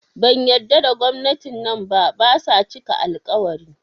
Ban yadda da gwamnati nan ba, basa cika al-ƙawari